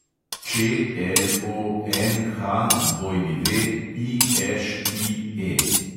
ČLONHWIŠIE